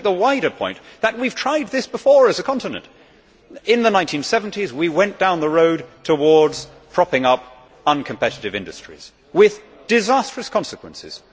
Let us just make the wider point that we have tried this before as a continent in the 1970s, we went down the road towards propping up uncompetitive industries, with disastrous consequences.